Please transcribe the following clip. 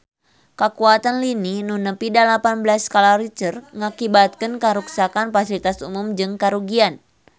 Kakuatan lini nu nepi dalapan belas skala Richter ngakibatkeun karuksakan pasilitas umum jeung karugian harta banda nepi ka 5 miliar rupiah